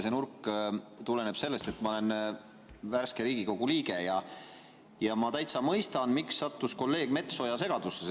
See nurk tuleneb sellest, et ma olen värske Riigikogu liige ja täitsa mõistan, miks sattus kolleeg Metsoja segadusse.